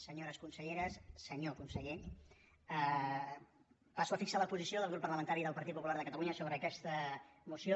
senyores conselleres senyor conseller passo a fixar la posició del grup parlamentari del partit popular de catalunya sobre aquesta moció